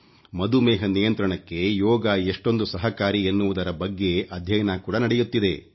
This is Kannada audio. ಮಧುಮೇಹ ನಿಯಂತ್ರಣಕ್ಕೆ ಯೋಗ ಎಷ್ಟೊಂದು ಸಹಕಾರಿ ಎನ್ನುವುದರ ಬಗ್ಗೆ ಅಧ್ಯಯನ ಕೂಡ ನಡೆಯುತ್ತಿದೆ